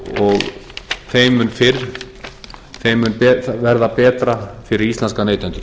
og þeim mun fyrr þeim mun verða betra fyrir íslenska neytendur